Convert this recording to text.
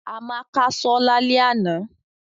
Amaka so lale ana.